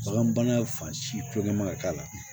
Bagan bana fan silen man ka k'a la